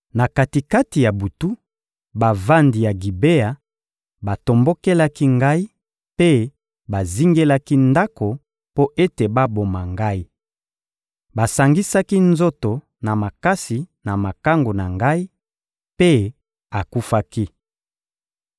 Na kati-kati ya butu, bavandi ya Gibea batombokelaki ngai mpe bazingelaki ndako mpo ete baboma ngai; basangisaki nzoto na makasi na makangu na ngai, mpe akufaki.